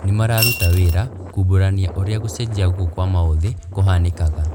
Nĩmararuta wĩra kumbũrania ũrĩa gũcenjia gũkũ kwa maũthĩ kũhanĩkaga